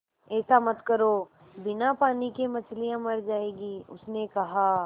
ऐसा मत करो बिना पानी के मछलियाँ मर जाएँगी उसने कहा